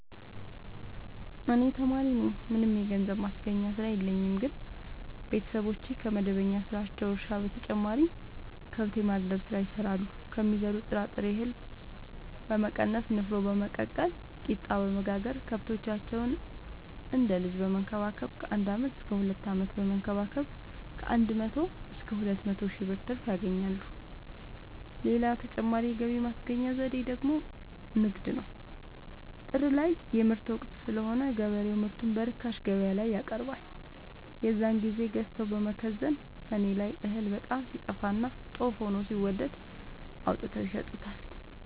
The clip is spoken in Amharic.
እኔ ተማሪነኝ ምንም የገንዘብ ማስገኛ ስራ የለኝም ግን ቤተሰቦቼ ከመደበኛ ስራቸው እርሻ በተጨማሪ ከብት የማድለብ ስራ ይሰራሉ ከሚዘሩት ጥራጥሬ እሀል በመቀነስ ንፋኖ በመቀቀል ቂጣበወጋገር ከብቶቻቸውን እንደ ልጅ በመከባከብ ከአንድ አመት እስከ ሁለት አመት በመንከባከብ ከአንድ መቶ እስከ ሁለት መቶ ሺ ብር ትርፍ ያገኛሉ። ሌላ ተጨማሪ የገቢ ማስገኛ ዘዴ ደግሞ ንግድ ነው። ጥር ላይ የምርት ወቅት ስለሆነ ገበሬው ምርቱን በርካሽ ገበያላይ ያቀርባል። የዛን ግዜ ገዝተው በመከዘን ሰኔ ላይ እህል በጣም ሲጠፋና ጦፍ ሆኖ ሲወደድ አውጥተው ይሸጡታል።